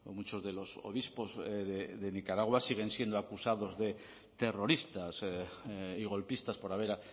muchos de los obispos de nicaragua siguen siendo acusados de terroristas y golpistas por haber